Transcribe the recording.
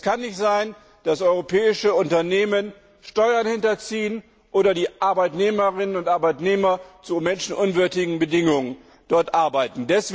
Es kann nicht sein, dass europäische Unternehmen Steuern hinterziehen oder die Arbeitnehmerinnen und Arbeitnehmer zu menschenunwürdigen Bedingungen dort arbeiten.